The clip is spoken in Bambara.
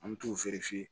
An mi t'u